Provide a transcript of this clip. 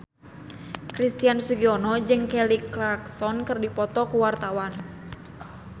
Christian Sugiono jeung Kelly Clarkson keur dipoto ku wartawan